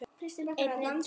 Stóð og horfði á hana.